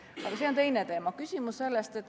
Aga see on teine teema.